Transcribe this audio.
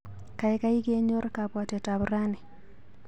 Kaikai kenyor kabwatetap rani.